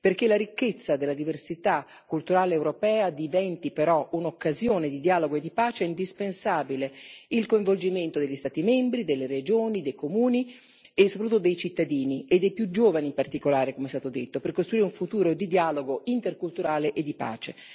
Perché la ricchezza della diversità culturale europea diventi però un'occasione di dialogo e di pace, è indispensabile il coinvolgimento degli Stati membri, delle regioni, dei comuni e soprattutto dei cittadini, e dei più giovani in particolare, come è stato detto, per costruire un futuro di dialogo interculturale e di pace.